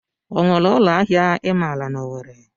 O nwere ụlọ ahịa I maara n'Owere?